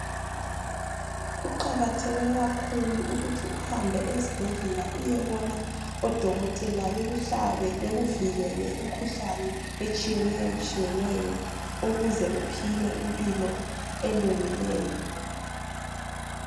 Kuqakatheke kakhulu ukuthi uhambe esibhedlela uyebona odokotela bekuhlabe bekuvikele imikhuhlane etshiyeneyo ukuze uphile impilo elungileyo.